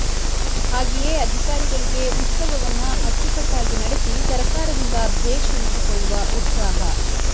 ಹಾಗೆಯೇ ಅಧಿಕಾರಿಗಳಿಗೆ ಉತ್ಸವವನ್ನ ಅಚ್ಚುಕಟ್ಟಾಗಿ ನಡೆಸಿ ಸರಕಾರದಿಂದ ಭೇಷ್ ಎನಿಸಿಕೊಳ್ಳುವ ಉತ್ಸಾಹ